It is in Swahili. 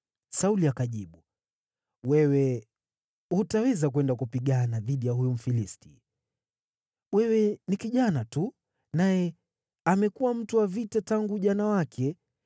Sauli akamjibu Daudi, “Wewe hutaweza kwenda kupigana dhidi ya huyu Mfilisti; wewe ni kijana tu, naye amekuwa mtu wa vita tangu ujana wake.”